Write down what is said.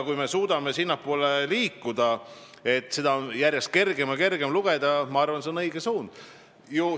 Kui me suudame sinnapoole liikuda, et riigieelarvet on järjest kergem ja kergem lugeda, siis see, ma arvan, on õige suund.